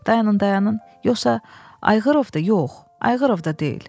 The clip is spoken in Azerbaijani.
Dayanın, dayanın, yoxsa Ayğrırov da, yox, Ayğrırov da deyil.